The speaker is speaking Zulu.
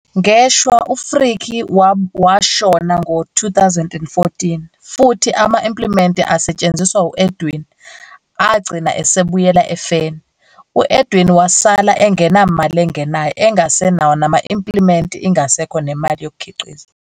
Ngeshwa, u-Frikkie washona ngo-2014 futhi ama-impliment asetshenziswa u-Edwin agcina esebuyela efeni. U-Edwin wasala engenamali engenayo, engasenawo nama-impliment isingekho nemali yokukhiqiza.